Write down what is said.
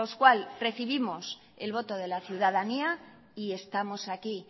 cual recibimos el voto de la ciudadanía y estamos aquí